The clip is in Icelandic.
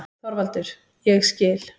ÞORVALDUR: Ég skil.